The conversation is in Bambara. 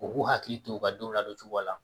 U k'u hakili to u ka denw ladon cogo la